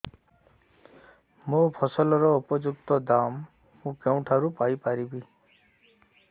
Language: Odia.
ମୋ ଫସଲର ଉପଯୁକ୍ତ ଦାମ୍ ମୁଁ କେଉଁଠାରୁ ପାଇ ପାରିବି